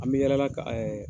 An bɛ yaala la ka